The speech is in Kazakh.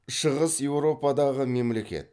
шығыс еуропадағы мемлекет